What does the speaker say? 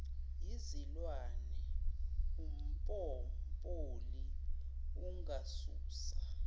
yizilwane umpopoli engasusa